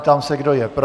Ptám se, kdo je pro.